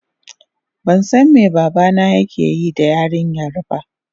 bansan me babana yakeyi da yarinyar ba.